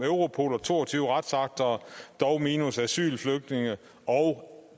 europol og to og tyve retsakter dog minus asyl og flygtninge og